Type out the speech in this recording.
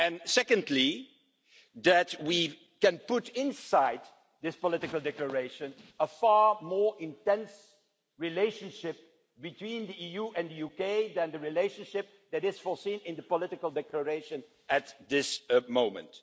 Secondly, in that we can put inside this political declaration a far more intense relationship between the EU and the UK than the relationship that is foreseen in the political declaration at this moment.